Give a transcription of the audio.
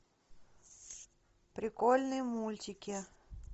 прикольные мультики